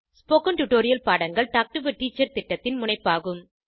spoken tutorial பாடங்கள் talk to a teacher திட்டத்தின் முனைப்பாகும்